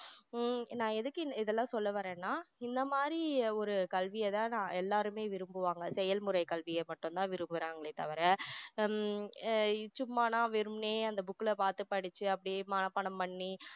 உம் நான் எதுக்கு இதெல்லாம் சொல்லவாரேன்னா இந்த மாதிரி ஒரு கல்வி அதாவது எல்லாருமே விரும்புவாங்க செயல்முறை கல்வியை மட்டும் தான் விரும்புறாங்களே தவிர ஹம் அஹ் சும்மானா வெறுமனே அந்த book ல பாத்து படிச்சி அப்படியே மனப்பாடம் பண்ணி